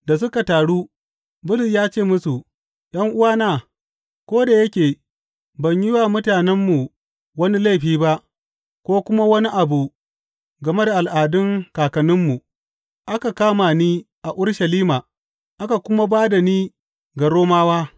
Da suka taru, Bulus ya ce musu, ’Yan’uwana, ko da yake ban yi wa mutanenmu wani laifi ba ko kuma wani abu game da al’adun kakanninmu, aka kama ni a Urushalima aka kuma ba da ni ga Romawa.